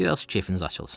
Bir az kefiniz açılsın.